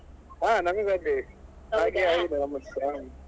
ಹ ನಮಿಗು ಅದ್ದೇ ಆಗಿದೆ ನಮ್ದು ಸಾ.